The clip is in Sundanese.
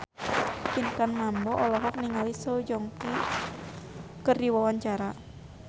Pinkan Mambo olohok ningali Song Joong Ki keur diwawancara